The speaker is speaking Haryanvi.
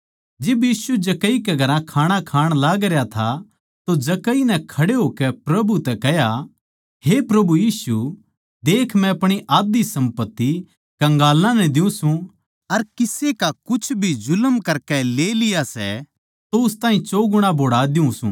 जिब यीशु जक्कई के घर खाणा खाण लागरया था तो जक्कई नै खड़े होकै प्रभु तै कह्या हे प्रभु यीशु देख मै अपणी आध्धी सम्पत्ति कंगालां नै द्यु सूं अर किसे का कुछ भी जुल्म करकै ले लिया सै तो उस ताहीं चौगुणा बोहड़ा द्यु सूं